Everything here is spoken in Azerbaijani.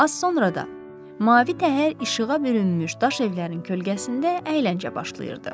Az sonra da mavi təhər işığa bürünmüş daş evlərin kölgəsində əyləncə başlayırdı.